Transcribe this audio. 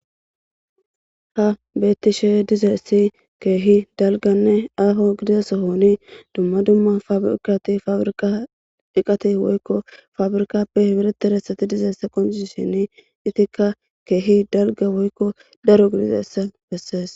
ha beettishe dizayssi keehi dalganne aafo gidiza sohoni dumma dumma fabirkati fabirka eqati woykko fabirikappe hibirete resati dizeessa qoniseni itikka keehi dalga woykko daro gidizayssa bessees